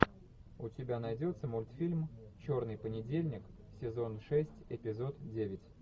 у тебя найдется мультфильм черный понедельник сезон шесть эпизод девять